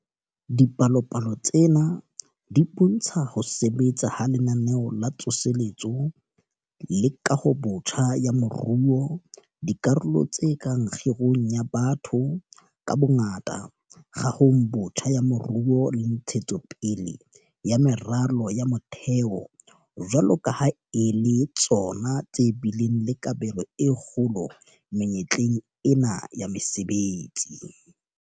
Dipalopalo tsena di bo ntsha ho sebetsa ha Lenaneo la Tsoseletso le Kahobotjha ya Moruo - dikarolong tse kang kgirong ya batho ka bongata, kahong botjha ya moruo le ntshetso pele ya meralo ya motheo - jwalo ka ha e le tsona tse bileng le kabelo e kgolo menyetleng ena ya mesebetsi.